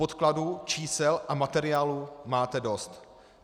Podkladů, čísel a materiálů máte dost.